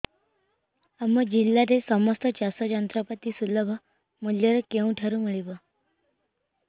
ଆମ ଜିଲ୍ଲାରେ ସମସ୍ତ ଚାଷ ଯନ୍ତ୍ରପାତି ସୁଲଭ ମୁଲ୍ଯରେ କେଉଁଠାରୁ ମିଳିବ